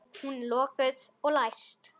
Hún er lokuð og læst.